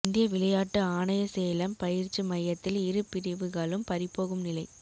இந்திய விளையாட்டு ஆணையசேலம் பயிற்சி மையத்தில் இரு பிரிவுகளும் பறிபோகும் நிலை